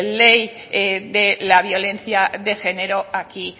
la ley de la violencia de género aquí